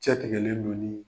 Cɛ tigɛlen dƆ ɲini